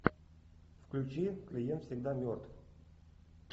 включи клиент всегда мертв